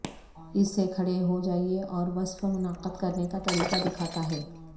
اس سے کھڑے ہو جائیے اور وصف منعقد کرنے کا طریقہ دکھاتا ہے